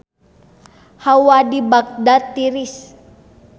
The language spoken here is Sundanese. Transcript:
Hawa di Bagdad tiris